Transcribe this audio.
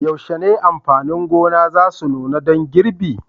Yaushe ne amfanin gona za su nuna dan girbi?